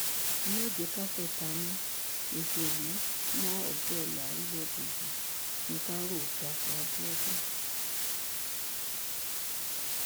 ẹ má jẹ ká fẹtanú ṣọṣọlù mọ ọjọọla orílẹèdè yìí ní ká rò dàpọ abiodun